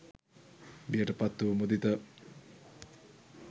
බියට පත් වූ මුදිත